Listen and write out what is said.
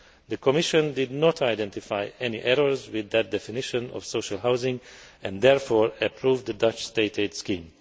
The Commission did not identify any errors with that definition of social housing and therefore approved the Dutch State aid scheme.